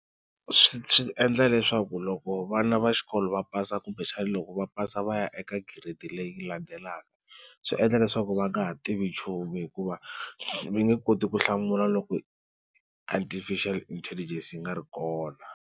Swi swi endla leswaku loko vana va xikolo va pasa kumbexana loko va pasa va ya eka grade leyi landzelaka swi endla leswaku va nga ha tivi nchumu hikuva va nge he koti ku hlamula loko Artificial Intelligence yi nga ri kona.